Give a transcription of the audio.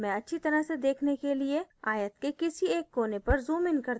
मैं अच्छी तरह से देखने के लिए आयत के किसी एक कोने पर zoomइन करती हूँ